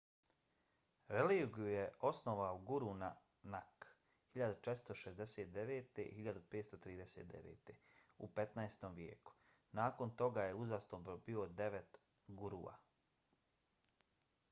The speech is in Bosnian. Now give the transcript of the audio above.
religiju je osnovao guru nanak 1469–1539 u 15. vijeku. nakon toga je uzastopno bilo devet gurua